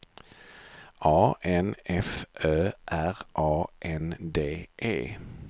A N F Ö R A N D E